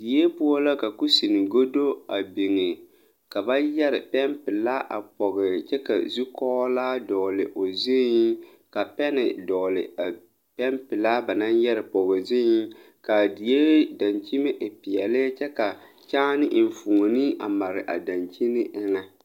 Die poɔ la ka kusine gado a biŋe ka ba yɛre pɛnpilaa a pɔge kyɛ ka zukɔglaa dɔgle o zuiŋ ka pɛne dɔgle a pɛnpilaa ba naŋ de yɛre pɔge zuiŋ kaa die daŋkyime e peɛle kyɛ ka kyaane enfuone a mare a dankyini eŋɛ.